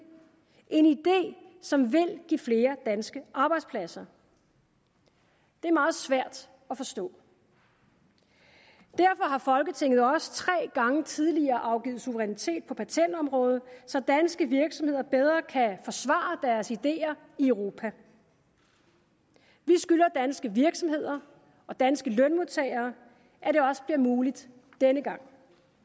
som vil give flere danske arbejdspladser det er meget svært at forstå derfor har folketinget også tre gange tidligere afgivet suverænitet på patentområdet så danske virksomheder bedre kan forsvare deres ideer i europa vi skylder danske virksomheder og danske lønmodtagere at det også bliver muligt denne gang